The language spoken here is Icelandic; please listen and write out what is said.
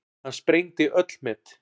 Hann sprengdi öll met.